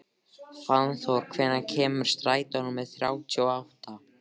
Fannþór, hvenær kemur strætó númer þrjátíu og átta?